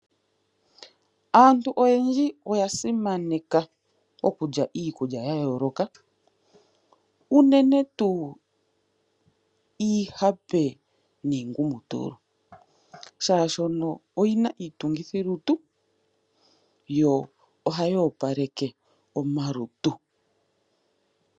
Aantu oyendji oya simaneka okulya iikulya ya yooloka uunene tuu iihape niingumutulu, shaashi oyina iitungithilutu, yo ohayi opaleke omalutu.